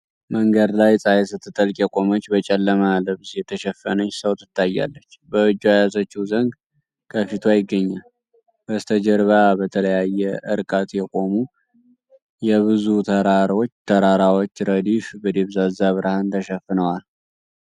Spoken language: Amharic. መንገድ ላይ፣ ፀሐይ ስትጠልቅ የቆመች በጨለማ ልብስ የተሸፈነች ሰው ትታያለች፣ በእጇ የያዘችው ዘንግ ከፊቷ ይገኛል። በስተጀርባ በተለያየ እርቀት የቆሙ የብዙ ተራራዎች ረድፍ በደብዛዛ ብርሃን ተሸፍነዋል።